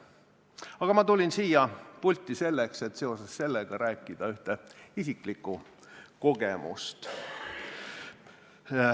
Aga ma tulin siia pulti selleks, et seoses sellega rääkida ühest isiklikust kogemusest.